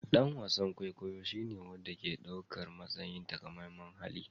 Dan wasan kwaikwayo shine wanda ke ɗaukar matsayin takamaiman hali